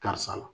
Karisa la